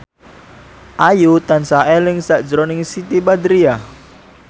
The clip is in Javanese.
Ayu tansah eling sakjroning Siti Badriah